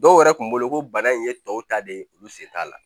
Dɔw yɛrɛ kun bolo ko bana in ye tɔw ta de ye olu sen t'a la